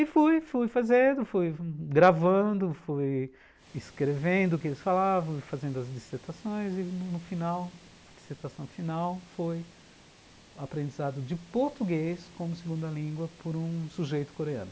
E fui fui fazendo, fui gravando, fui escrevendo o que eles falavam, fui fazendo as dissertações e, no final, a dissertação final foi aprendizado de português como segunda língua por um sujeito coreano.